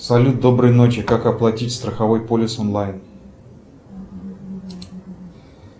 салют доброй ночи как оплатить страховой полис онлайн